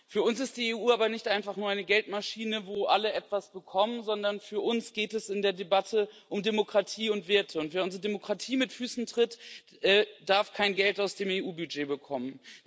Für uns ist die EU aber nicht einfach nur eine Geldmaschine, wo alle etwas bekommen, sondern für uns geht es in der Debatte um Demokratie und Werte, und wer unsere Demokratie mit Füßen tritt, darf kein Geld aus dem EU Budget bekommen.